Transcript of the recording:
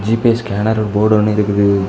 GPay scanner board னு இருக்குது.